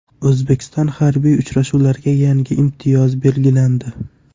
O‘zbekiston harbiy uchuvchilariga yangi imtiyoz belgilandi.